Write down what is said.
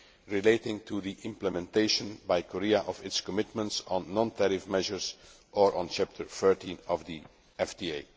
concerns relating to the implementation by Korea of its commitments on non tariff measures or on Chapter 13 of